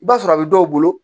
I b'a sɔrɔ a bɛ dɔw bolo